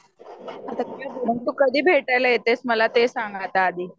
तू कधी भेटायला येतेस आता ते सांग मला आधी.